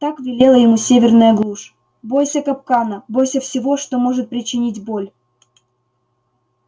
так велела ему северная глушь бойся капкана бойся всего что может причинить боль